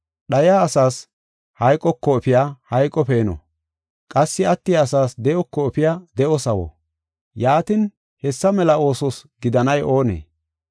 Dhaya asaas hayqoko efiya hayqo peeno; qassi attiya asaas de7oko efiya de7o sawo; yaatin, hessa mela oosos gidanay oonee?